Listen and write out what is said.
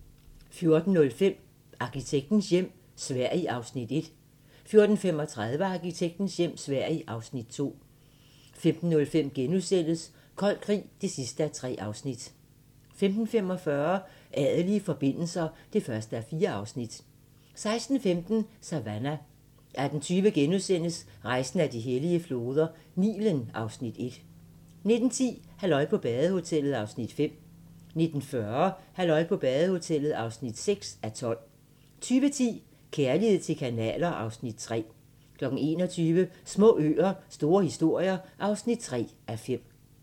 14:05: Arkitektens hjem - Sverige (Afs. 1) 14:35: Arkitektens hjem - Sverige (Afs. 2) 15:05: Kold krig (3:3)* 15:45: Adelige forbindelser (1:4) 16:15: Savannah 18:20: Rejsen ad de hellige floder - Nilen (Afs. 1)* 19:10: Halløj på badehotellet (5:12) 19:40: Halløj på badehotellet (6:12) 20:10: Kærlighed til kanaler (Afs. 3) 21:00: Små øer - store historier (3:5)